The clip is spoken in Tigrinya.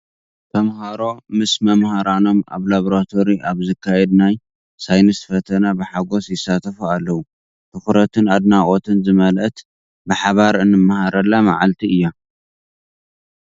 ተምሃሮ ምስ መምህራኖም ኣብ ላቦራቶሪ ኣብ ዝካየድ ናይ ሳይንስ ፈተነ ብሓጎስ ይሳተፉ ኣለዉ። ትኹረትን ኣድናቖትን ዝመልአት ብሓባር እንመሃረላ መዓልቲ እያ።